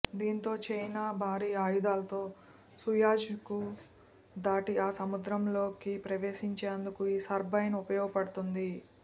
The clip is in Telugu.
దీంతో చైనా భారీ ఆయుధాలతో సూయజ్ను దాటి ఆ సముద్రంలోకి ప్రవేశించేందుకు ఈ సబ్మెరైన్ ఉపయోగపడుతుంది